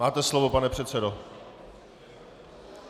Máte slovo, pane předsedo.